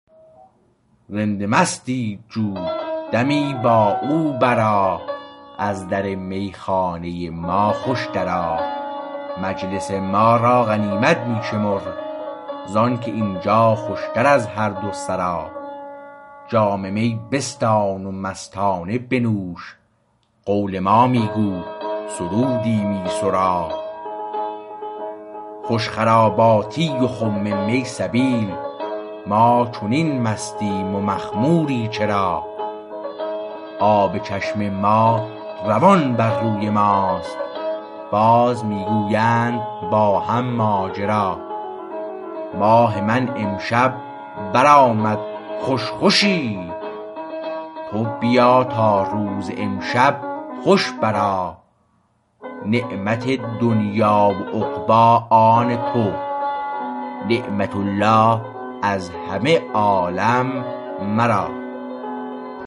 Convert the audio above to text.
رند مستی چو دمی با او برآ از در میخانه ما خوش درآ مجلس ما را غنیمت می شمر زانکه اینجا خوشتر از هر دو سرا جام می بستان و مستانه بنوش قول ما می گو سرودی می سرا خوش خراباتی و خم می سبیل ما چنین مستیم و مخموری چرا آب چشم ما روان بر روی ماست باز می گویند با هم ماجرا ماه من امشب بر آمد خوش خوشی تو بیا تا روز امشب خوش برآ نعمت دنیی و عقبی آن تو نعمت الله از همه عالم مرا